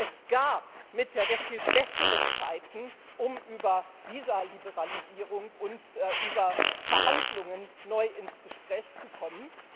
Es gab mit der Türkei sehr viel bessere Zeiten, um über Visaliberalisierung und über Verhandlungen neu ins Gespräch zu kommen.